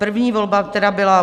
První volba, která byla